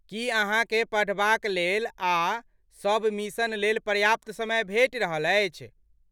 की अहाँकेँ पढ़बाकलेल आ सबमिशन लेल पर्याप्त समय भेटि रहल अछि?